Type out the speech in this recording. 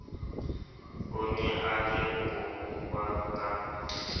o ne a lebohuwa ka